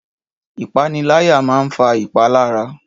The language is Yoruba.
Ìpániláyà máa ń fa ìpalára